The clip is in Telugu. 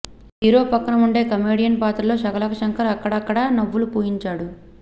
హీరో పక్కన ఉండే కమెడియన్ పాత్రలో శకలక శంకర్ అక్కడక్కడ నవ్వులు పూయించాడు